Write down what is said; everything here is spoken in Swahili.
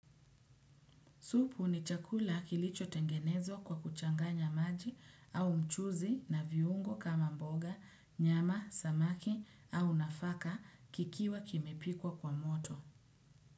Supu ni chakula kilicho tengenezwa kwa kuchanganya maji au mchuzi na viungo kama mboga, nyama, samaki au nafaka kikiwa kimepikwa kwa moto.